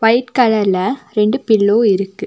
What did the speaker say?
White கலர்ல ரெண்டு pillow இருக்கு.